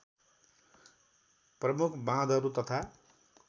प्रमुख बाँधहरू तथा